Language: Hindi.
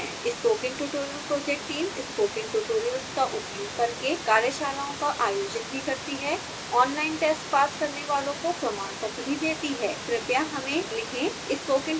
spoken tutorial project team spoken tutorials का उपयोग करके कार्यशालाओं का आयोजन भी करती है ऑनलाइन टेस्ट पास करने वालो को प्रमाण पत्र भी देती है कृपया हमें contact@spokentutorialorg पर लिखें